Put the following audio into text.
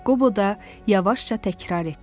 Qobo da yavaşca təkrar etdi.